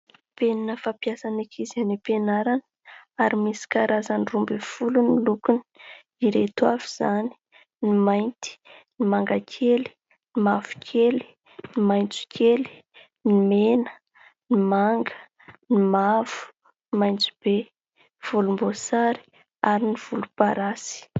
Penina fampiasan'ny ankizy any am-pianarana, ary misy karazany roa ambin'ny folo ny lokony, ireto avy izany : ny mainty, ny mangakely, ny mavokely, ny maitsokely, ny mena, ny manga, ny mavo, ny maitsobe, volomboasary ary ny volomparasy.